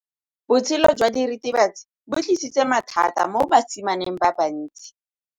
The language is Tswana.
Botshelo jwa diritibatsi ke bo tlisitse mathata mo basimaneng ba bantsi.